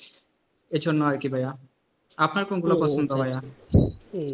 এজন্যই আর কি ভায়া। আপনার কোনগুলো পছন্দ ভায়া?